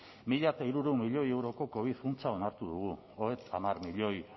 mila hirurehun milioi euroko covid funtsa onartu dugu hamar milioi